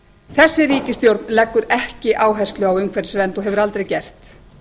þessi ríkisstjórn leggur ekki áherslu á umhverfisvernd og hefur aldrei gert